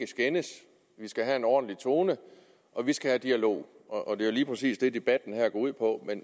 skændes vi skal have en ordentlig tone og vi skal have dialog og det er jo lige præcis det debatten her går ud på